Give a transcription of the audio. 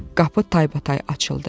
Qapı taybatay açıldı.